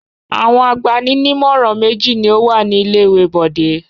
Àwọn agbani-nímọ̀ràn méjì ni ó wà ní ilé-ìwé Bọ̀dé.